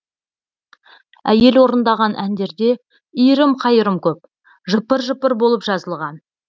әйел орындаған әндерде иірім қайырым көп жыпыр жыпыр болып жазылған